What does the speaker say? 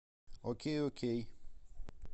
окей окей